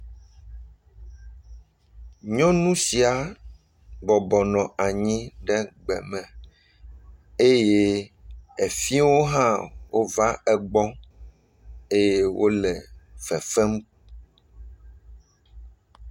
Nyɔnu sia bɔbɔ nɔ anyi ɖe gbeme eye efiewo hã wova egbɔ eye wole fefem.